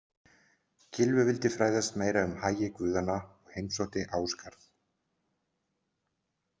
Gylfi vildi fræðast meira um hagi guðanna og heimsótti Ásgarð.